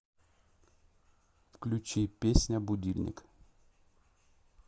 включи песня будильник